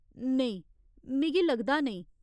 नेईं, मिगी लगदा नेईं।